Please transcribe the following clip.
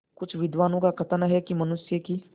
कुछ विद्वानों का कथन है कि मनुष्य की